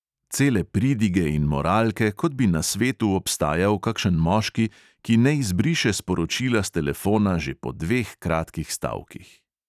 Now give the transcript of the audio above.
Cele pridige in moralke, kot bi na svetu obstajal kakšen moški, ki ne izbriše sporočila s telefona že po dveh kratkih stavkih.